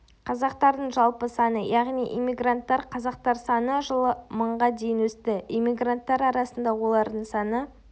қазақтардың жалпы саны яғни иммигрант қазақтар саны жылы мыңға дейін өсті эммигранттар арасында олардың саны